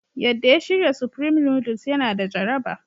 Yadda ya shirya Supreme noodles yana da jaraba.